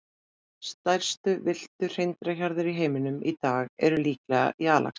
Stærstu villtu hreindýrahjarðir í heiminum í dag eru líklega í Alaska.